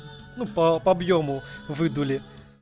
по объёму выдули